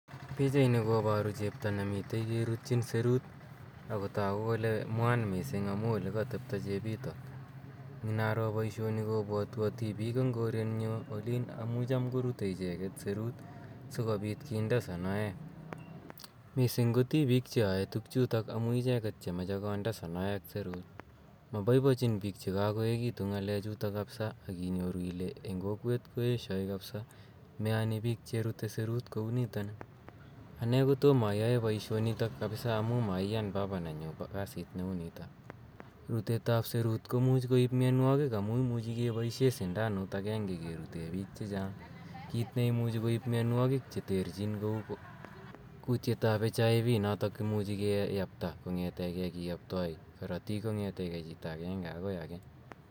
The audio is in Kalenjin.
Pichaini koparu chepto ne mitei kerutchin serut ako tagu kole mwaan missing' amu ole ktepto chepitok. Inaro poishoni lopwatwa tipiik eng koren nyu olin amu cham korutei icheget serut si kopit kinde sonoek. Missing' ko tipiik che yae tugchutook amu icheget che mache konde sonoek seruut. Mapoipocin piik che kakoekitu ng'alechu kapsa akinyoru ile eng' kokwet koeshai kapsa , meyani piik cherute serut kou nitani. Ane kotoma ayae poishonitok kapsa amu maiyan papa nenyu kasit ne u nitok. Rutet ap serut komuchi koip mianwokik amu imuchi kepaishe sindanuut agenge kerute piik che chang', kiit nemuchi koip mianwogiik che terchin kou kutietap HIV nemuchi kiyapta kong'etegei kiyaptai karatiik kong, ete gei chito agenge akoi age.